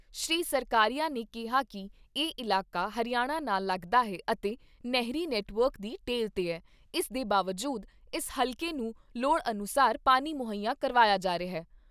ਸ਼੍ਰੀ ਸਰਕਾਰੀਆ ਨੇ ਕਿਹਾ ਕਿ ਇਹ ਇਲਾਕਾ ਹਰਿਆਣਾ ਨਾਲ ਲੱਗਦਾ ਹੈ ਅਤੇ ਨਹਿਰੀ ਨੈੱਟਵਰਕ ਦੀ ਟੇਲ 'ਤੇ ਐ, ਇਸ ਦੇ ਬਾਵਜੂਦ ਇਸ ਹਲਕੇ ਨੂੰ ਲੋੜ ਅਨੁਸਾਰ ਪਾਣੀ ਮੁਹੱਈਆ ਕਰਵਾਇਆ ਜਾ ਰਿਹਾ।